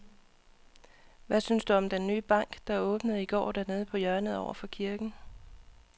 Hvad synes du om den nye bank, der åbnede i går dernede på hjørnet over for kirken?